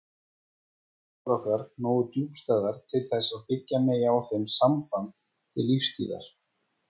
Eru tilfinningar okkar nógu djúpstæðar til þess að byggja megi á þeim samband til lífstíðar?